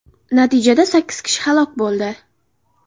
Natijada sakkiz kishi halok bo‘ldi.